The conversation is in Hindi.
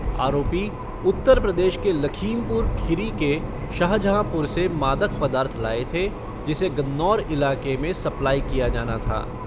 आरोपी उत्तर प्रदेश के लखीमपुर खिरी के शाहजहांपुर से मादक पदार्थ लाए थे जिसे गन्नौर इलाके में सप्लाई किया जाना था।